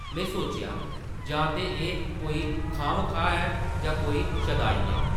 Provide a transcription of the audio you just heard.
में सोचेआ जां ते एह् कोई खाह्-मखाह् ऐ जां कोई शदाई ऐ ।